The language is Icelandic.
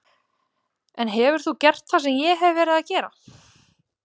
En hefur þú gert það sem ég hef verið að gera?